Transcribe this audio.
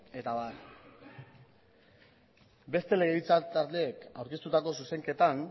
eta abar beste legebiltzar taldeek aurkeztutako zuzenketan